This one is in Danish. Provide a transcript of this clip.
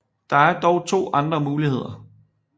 Der er dog to andre muligheder